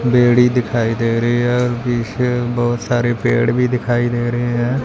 बेड़ी दिखाई दे रही है और पीछे बहुत सारे पेड़ भी दिखाई दे रहे हैं।